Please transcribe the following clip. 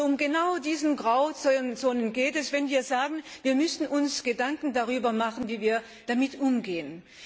Und um genau diese Grauzonen geht es, wenn wir sagen, wir müssen uns Gedanken darüber machen, wie wir damit umgehen.